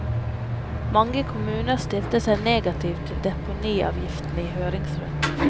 Mange kommuner stilte seg negativ til deponiavgiften i høringsrunden.